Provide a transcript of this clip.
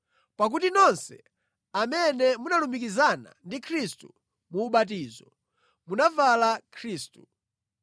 pakuti nonse amene munalumikizana ndi Khristu mu ubatizo munavala Khristu.